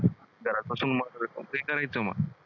घरात बसून